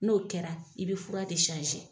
N'o kɛra i bɛ fura de